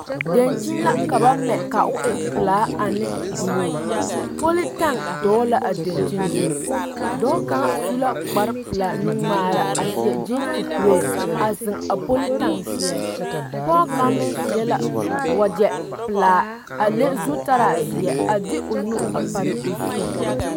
Dankyini la ka ba mɛ ka o e pelaane buluu politaŋ dɔgele la a dankyini su dɔɔ kaŋ su la kpar pelaa nuŋmaara a seɛ kyeese kuree a zeŋ a politaŋ seɛ pɔge kaŋ meŋ seɛ la wagyɛ pelaa a le zutaraa zeɛ a de o nu a pare o zu